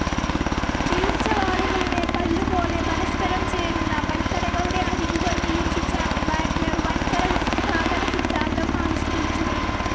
ഈർച്ചവാളുകളുടെ പല്ലുപോലെ പരസ്പരം ചേരുന്ന വൻകരകളുടെ അരികുകൾ നിരീക്ഷിച്ചാണ് വാഗ്‌നർ വൻകര വിസ്ഥാപനസിദ്ധാന്തം ആവിഷ്കരിച്ചത്.